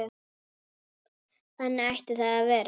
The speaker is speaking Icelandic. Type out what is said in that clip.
Þannig ætti það að vera.